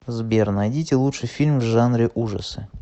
сбер найдите лучший фильм в жанре ужасы